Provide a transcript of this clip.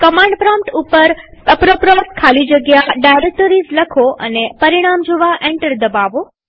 command prompt પર apropos ખાલીજગ્યા directories લખો અને પરિણામ જોવા એન્ટર દબાવો